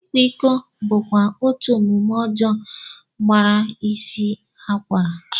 Ịkwa iko bụkwa otú omume ọjọọ ọzọ gbara isi akwara